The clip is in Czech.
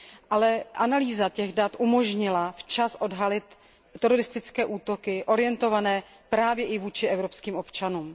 Ale analýza těch dat umožnila včas odhalit teroristické útoky orientované právě i vůči evropským občanům.